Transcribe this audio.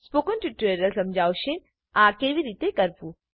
spoken tutorial સમજાવશે આ કેવી રીતે કરવું